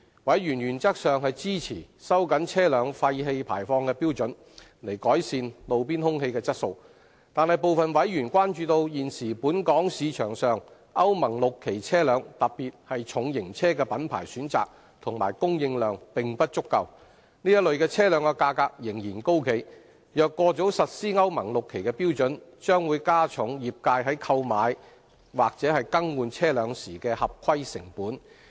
委員原則上支持收緊車輛廢氣排放標準，以改善路邊空氣質素，但部分委員關注現時本港市場上歐盟 VI 期車輛的品牌選擇及供應量並不足夠，這類車輛的價格仍然很高；若過早實施歐盟 VI 期標準，將會加重業界在購買或更換車輛時的合規成本。